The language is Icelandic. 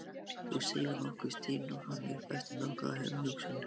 Þú segir nokkuð, stynur hann upp eftir nokkra umhugsun.